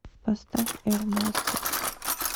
поставь эрмастер